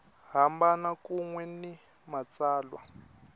hambana kun we ni matsalwa